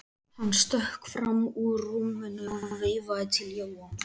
Hann stökk fram úr rúminu og veifaði til Jóa.